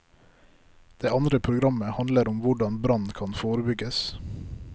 Det andre programmet handler om hvordan brann kan forebygges.